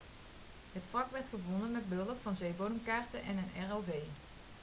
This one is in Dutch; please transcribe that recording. het wrak werd gevonden met behulp van zeebodemkaarten en een rov